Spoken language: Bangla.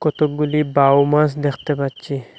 কতগুলি বাউ মাছ দেখতে পাচ্ছি।